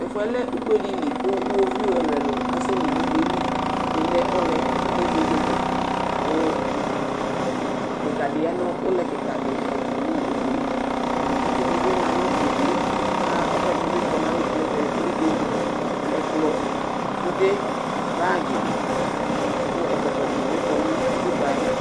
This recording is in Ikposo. Tʋ ɛfʋ yɛ lɛ ugbe dɩ li, kʋ iɣoviu ɛlʋ-ɛlʋ asɛli nʋ ugbe yɛ li Ɛdɩnɩ ʋlɛ, ɛdɩnɩ mɛ vegele, kʋ dekǝ dɩ ya nʋ ʋlɛ kɩka dɩ ɛtʋ nʋ udu yɛ Itsu dɩ bɩ ma nʋ udu yɛ, kʋ ɛkʋ ɛdɩnɩ bɩ kɔ nʋ alonu nʋ ɛvɛ alɛ ikpoku, ɛkplɔ, sude, bagɩ, kʋ ɛkɔtɔ dɩnɩ bɩ kɔ nʋ utikpǝ yɛ